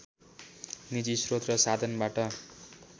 निजी श्रोत र साधनबाट